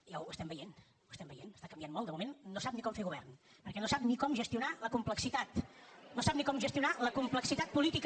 ja ho estem veient ho estem veient està canviant molt de moment no sap ni com fer govern perquè no sap ni com gestionar la complexitat no sap ni com gestionar la complexitat política